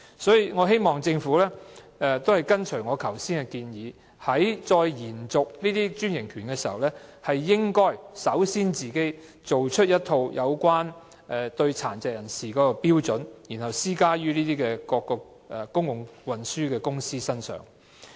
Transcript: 所以，我希望政府按照我剛才提出的建議，在延續專營權的時候，應該首先就殘疾人士的服務訂立一套標準，然後施加於各公共交通公司的身上。